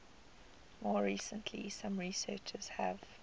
more recently some researchers have